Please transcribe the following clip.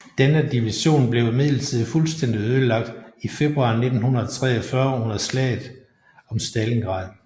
Denne division blev imidlertid fuldstændig ødelagt i februar 1943 under slaget om Stalingrad